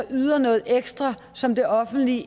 yder noget ekstra som det offentlige